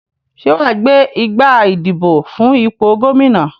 Sé wàá gbé igbá ìdìbò fún ipò Gómìnà